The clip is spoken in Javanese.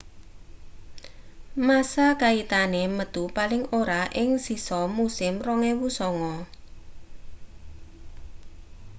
massa kaitane metu paling ora ing sisa musim 2009